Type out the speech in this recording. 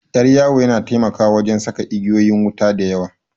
Ƴar yawu yana taimakawa wajan saka igeyoyin wuta da yawa